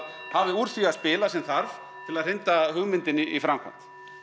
hafi úr því að spila sem þarf til að hrinda hugmyndinni í framkvæmd